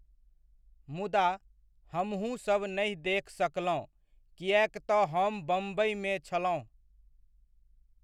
मुदा, हमहुँसब नहि देख सकलहुँ किएक तऽ हम बम्बइमे छलहुँ।